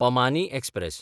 पमानी express